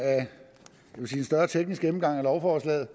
vil sige en større teknisk gennemgang af lovforslaget